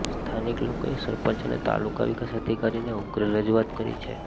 સ્થાનીક લોકોએ સરપંચ અને તાલુકા વિકાસ અધિકારીને ઉગ્ર રજુઆત કરી છે